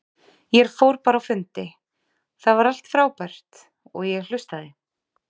Ég fór bara á fundi, það var allt frábært, og ég hlustaði.